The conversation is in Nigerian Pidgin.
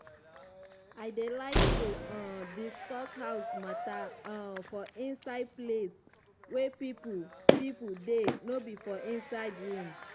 i dey like to um dey discuss house matter um for inside place wey people people dey no be for inside room